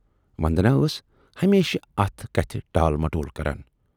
وندنا ٲس ہمیشہِ اتھ کتھِ ٹال مٹول کران۔